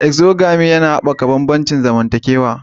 Exogamy yana haɓaka bambancin zamantakewa.